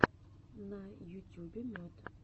на ютюбе мед